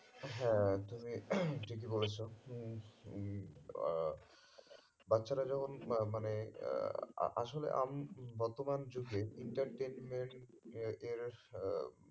হ্যাঁ তুমি ঠিকই বলেছো আহ বাচ্ছারা যেমন মা মানে আহ আ আসলে আমি বর্তমান যুগে entertainment এ এর আহ